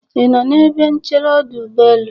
ị nọ n'ebe nchere ọdụ ụgbọelu?